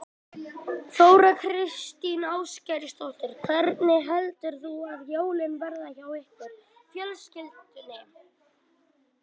Þóra Kristín Ásgeirsdóttir: Hvernig heldurðu að jólin verði hjá ykkur fjölskyldunni?